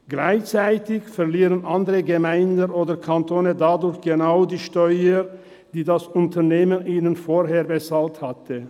Gleichzeitig verlieren andere Gemeinden oder Kantone dadurch genau diejenigen Steuern, die das Unternehmen ihnen vorher bezahlt hatten.